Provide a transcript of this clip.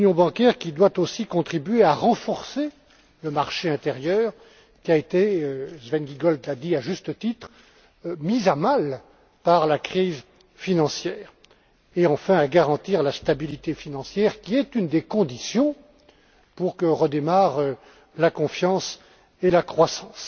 Elle doit, par ailleurs, contribuer à renforcer le marché intérieur qui a été Sven Giegold l'a dit à juste titre mis à mal, par la crise financière et, enfin, à garantir la stabilité financière, qui est une des conditions pour que redémarrent la confiance et la croissance.